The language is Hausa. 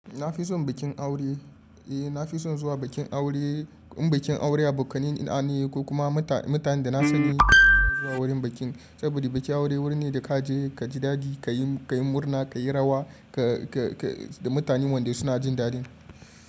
Na fi son bikin aure. Eh, na fi son zuwa bikin aure in bikin aure abokanai na ne ko kuma mutanen da na sani zan zuwa wurin bikin. Saboda bikin aure wuri ne da ka je ka ji daɗi, ka yi murna, ka yi rawa da mutanen wanda suna jin daɗi.